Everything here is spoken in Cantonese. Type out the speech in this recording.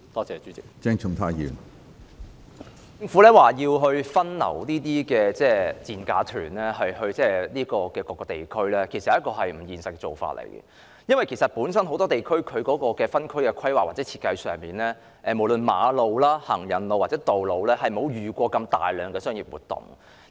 政府表示會把這些所謂"賤價團"分流到各個地區，其實這是不現實的做法，因為很多地區本身在分區規劃或設計上，無論是馬路、行人路或道路，均從未遇過如此大量的商業活動。